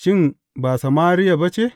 Shin, ba Samariya ba ce?